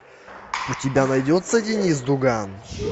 у тебя найдется деннис дуган